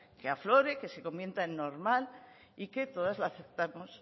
que aflore que se convierta en normal y que todas lo aceptamos